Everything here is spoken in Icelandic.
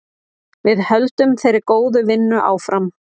Við höldum þeirri góðu vinnu áfram.